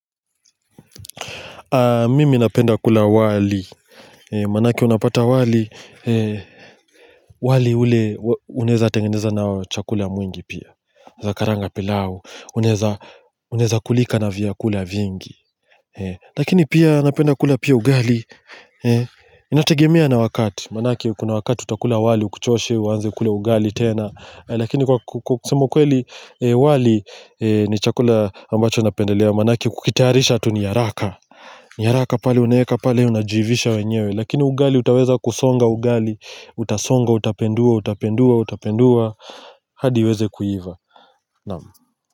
Mimi napenda kula wali, maanake unapata wali, wali ule unaeza tengeneza na chakula mwingi pia, unaeza karanga pilau, unaeza kulika na vyakula vingi. Lakini pia napenda kula pia ugali, inategemea na wakati, maanake kuna wakati utakula wali ukuchoshe, uanze kula ugali tena lakini kwa kusema ukweli wali ni chakula ambacho napendelea maanake kukitayarisha tu ni haraka ni haraka pale unaeka pale unajiivisha wenyewe. Lakini ugali utaweza kusonga ugali utasonga utapindua utapindua utapindua hadi uweze kuiva. Naam.